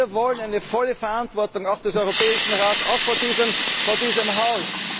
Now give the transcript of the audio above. die wir akzeptieren können. Wir wollen eine volle Verantwortung auch des Europäischen